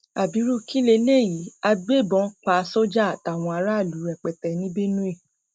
ábírú kí leléyìí agbébọn pa sójà àtàwọn aráàlú rẹpẹtẹ ní benue